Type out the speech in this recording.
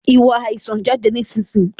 Ìwọ àìsàn, jáde nísinsìnyí!